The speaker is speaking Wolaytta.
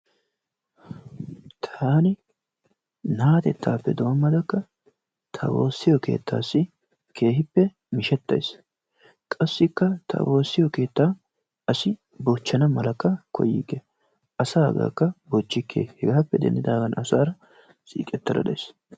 Taani naatettaappe doomadakka ta wosiyo keettaassi keehippe mishetays, qassikka ta woosiyo keettaa asi bochana malakka koyikke asaagaakka bochikke hegaappe denddidaagan asaara siiqetada days.